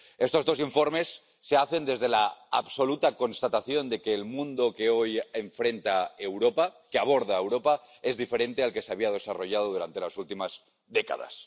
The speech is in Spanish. Estos dos informes se hacen desde la absoluta constatación de que el mundo que hoy enfrenta Europa, que aborda Europa, es diferente al que se había desarrollado durante las últimas décadas.